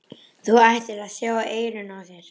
Þú ættir að sjá eyrun á þér!